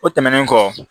O tɛmɛnen kɔ